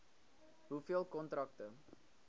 hoeveel kontrakte